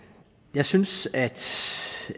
jeg synes at